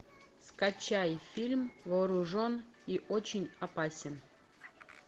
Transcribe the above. скачай фильм вооружен и очень опасен